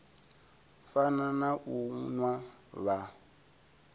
fana na u nwa vha